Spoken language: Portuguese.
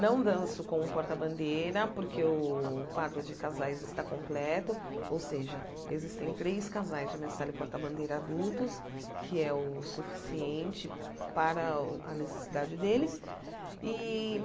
Não danço como porta-bandeira, porque o quadro de casais está completo, ou seja, existem três casais de mestre Sala e porta-bandeira adultos, que é o suficiente para a necessidade deles. E